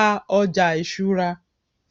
a ọjà ìṣúra